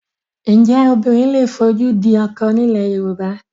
Ǹjẹ́ obìnrin lè fojú di ọkọ ní ilẹ̀ Yorùbá?